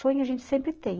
Sonho a gente sempre tem.